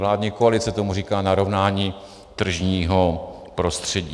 Vládní koalice tomu říká narovnání tržního prostředí.